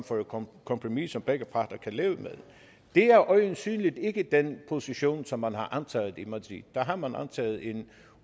kompromis som begge parter kan leve med det er øjensynlig ikke den position som man har antaget i madrid der har man antaget en